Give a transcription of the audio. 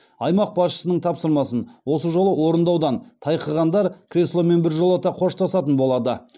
аймақ басшысының тапсырмасын осы жолы орындаудан тайқығандар кресломен біржолата қоштасатын болады